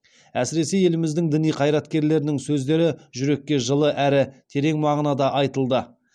әсіресе еліміздің діни қайраткерлерінің сөздері жүрекке жылы әрі терең мағынада айтылды